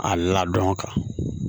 A ladɔn ka